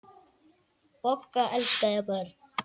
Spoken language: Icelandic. Bogga elskaði börn.